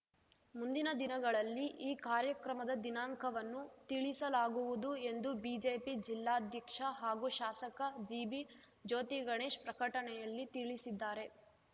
ಮುಂದಿನ ದಿನಗಳಲ್ಲಿ ಈ ಕಾರ್ಯಕ್ರಮದ ದಿನಾಂಕವನ್ನು ತಿಳಿಸಲಾಗುವುದು ಎಂದು ಬಿಜೆಪಿ ಜಿಲ್ಲಾಧ್ಯಕ್ಷ ಹಾಗೂ ಶಾಸಕ ಜಿಬಿ ಜ್ಯೋತಿಗಣೇಶ್ ಪ್ರಕಟಣೆಯಲ್ಲಿ ತಿಳಿಸಿದ್ದಾರೆ